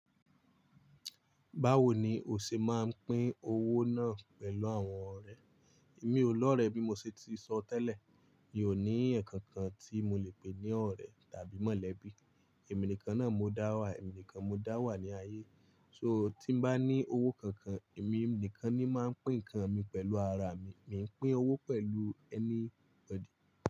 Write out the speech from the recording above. Báwo ni o ṣe máa ń pín owó náà pẹ̀lú àwọn ọ̀rẹ́? Èmi olóòrẹẹ́ bí mo ṣe ti sọ tẹ́lẹ̀, mi ò ní ẹ̀yan kankan tí mo lè pè ní ọ̀rẹ́ tàbí mọ̀lẹ́bí. Èmi nìkan náà mo dá wà, èmi nìkan mo dá wà ní ayé. So tí bá ní owó kankan, èmi nìkan ni máa ń pín nǹkan mi pẹ̀lú ara mi. Mi ń pín owó pẹ̀lú ẹnikeni pẹ̀lú.